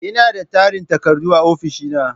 Ina da tarin takardu a ofishina.